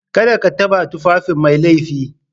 Kada ka taɓa tufafin Mai laifi